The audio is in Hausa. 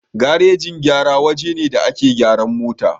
Garajin gyara waje ne da ake gyaran mota